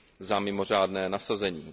za mimořádné nasazení.